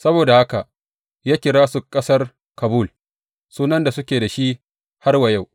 Saboda haka ya kira su Ƙasar Kabul, sunan da suke da shi har wa yau.